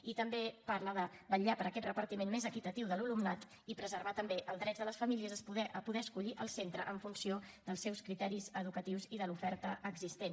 i també parla de vetllar per aquest repartiment més equitatiu de l’alumnat i preservar també els drets de les famílies a poder escollir el centre en funció dels seus criteris educatius i de l’oferta existent